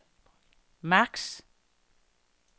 maks